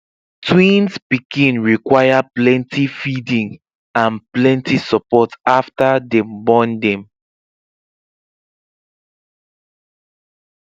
twins pikin require pleny feeding and plenty support after dem born dem